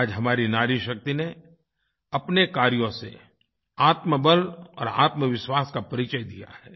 आज हमारी नारी शक्ति ने अपने कार्यों से आत्मबल और आत्मविश्वास का परिचय दिया है